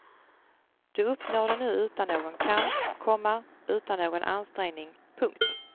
Du uppnår den nu utan någon kamp, komma utan någon ansträngning. punkt